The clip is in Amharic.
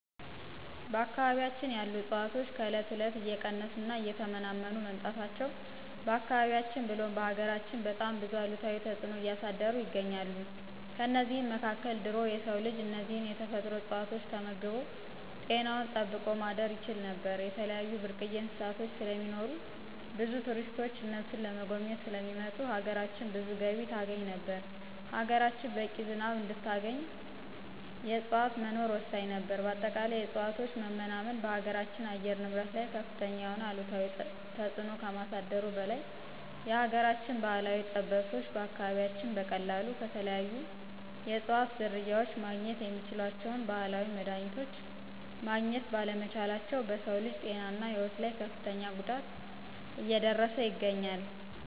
በአካባቢያችን ያሉ እፅዋቶች ከእለት እለት እየቀነሱ እና እየተመናመኑ መምጣታቸው በአካባቢያችን ብሎም በሀገራችን በጣም ብዙ አሉታዊ ተጽዕኖ እያሳደሩ ይገኛሉ። ከእነዚህም መካከል ድሮ የሰው ልጅ እነዚህን የተፈጥሮ እጽዋቶች ተመግቦ ጤናውን ጠብቆ ማደር ይችል ነበር፣ የተለያዩ ብርቅዬ እንስሳቶች ስለሚኖሩ ብዙ ቱሪስቶች እነሱን ለመጎብኘት ስለሚመጡ ሀገራችን ብዙ ገቢ ታገኝ ነበር፣ ሀገራችን በቂ ዝናብ እንድታገኝ የእጽዋት መኖር ወሳኝ ነበር በአጠቃላይ የእጽዋቶች መመናመን በሀገራችን አየር ንብረት ላይ ከፍተኛ የሆነ አሉታዊ ተጽዕኖ ከማሳደሩ በላይ የሀገራችን ባህላዊ ጠበብቶች በአካባቢያችን በቀላሉ ከተለያዩ የእጽዋት ዝርያዎች ማግኘት የሚችሏቸውን ባህላዊ መድሀኒቶች ማግኘት ባለመቻላቸው በሰው ልጅ ጤናና ህይወት ላይ ከፍተኛ ጉዳት እየደረሰ ይገኛል።